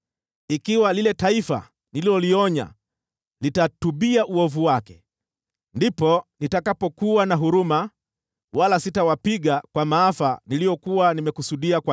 ikiwa lile taifa nililolionya litatubia uovu wake, ndipo nitakapokuwa na huruma, wala sitawapiga kwa maafa niliyokuwa nimewakusudia.